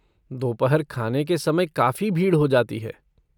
दोपहर खाने के समय काफ़ी भीड़ हो जाती है।